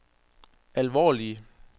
alvorlige